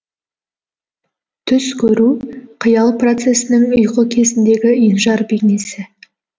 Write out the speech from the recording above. түс көру қиял процесінің ұйқы кезіндегі енжар бейнесі